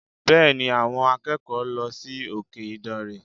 Bẹ́ẹ̀ni, àwọn akẹ́kọ̀ọ́ lọ sí òkè ìdànrè